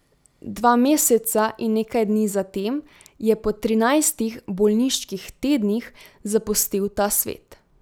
Dva meseca in nekaj dni zatem je po trinajstih bolniških tednih zapustil ta svet.